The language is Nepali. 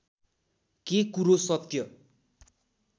के कुरो सत्य